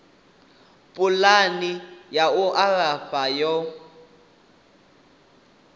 pulani ya u alafha yo